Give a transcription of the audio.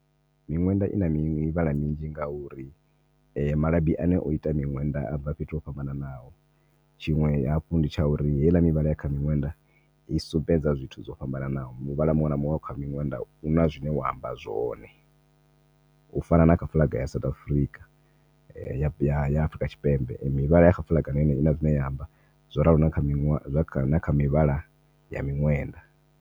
Miṅwenda ina mivhala minzhi ngauri malabi ane o ita miṅwenda a bva fhethu ho fhambanaho tshiṅwe hafhu ndi tsha uri heiḽa mivhala ire kha miṅwenda i sumbedza zwithu zwo fhambanaho. Muvhala muṅwe na muṅwe wa kha miṅwenda huna zwine wa amba zwone, u fana na kha flag ya South Africa ya Afrika Tshipembe mivhala ya kha flag huna zwine ya amba zwo ralo na kha mivhala ya miṅwenda.